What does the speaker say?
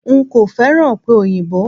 N kò féràn ọ̀pẹ̀ òyìnbó.